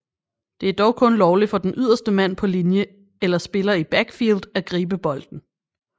Det er dog kun lovligt for den ydderste mand på linje eller spiller i backfield at gribe bolden